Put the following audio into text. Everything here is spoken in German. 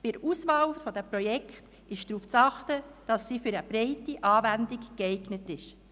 Bei der Auswahl der Projekte ist darauf zu achten, dass sie für eine breite Anwendung geeignet sind.